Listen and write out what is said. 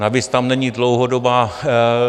Navíc tam není dlouhodobá...